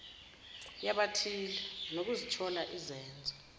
yabathile nokuzithola izenzo